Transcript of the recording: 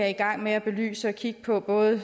i gang med at belyse og kigge på både